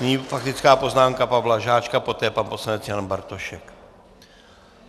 Nyní faktická poznámka Pavla Žáčka, poté pan poslanec Jan Bartošek.